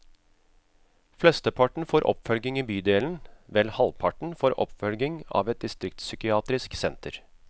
Flesteparten får oppfølging i bydelen, vel halvparten får oppfølging av et distriktspsykiatrisk senter.